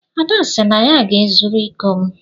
Ada sị na ya ga-ezuru iko m.